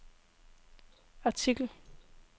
artikel